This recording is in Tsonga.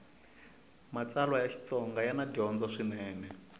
matsalwa ya xitsonga yana dyondzo swinene